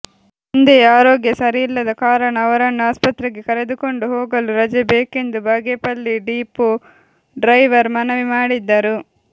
ತಂದೆಯ ಆರೋಗ್ಯ ಸರಿಯಿಲ್ಲದ ಕಾರಣ ಅವರನ್ನು ಆಸ್ಪತ್ರೆಗೆ ಕರೆದುಕೊಂಡು ಹೋಗಲು ರಜೆ ಬೇಕೆಂದು ಬಾಗೇಪಲ್ಲಿ ಡಿಪೋ ಡ್ರೈವರ್ ಮನವಿ ಮಾಡಿದ್ದರು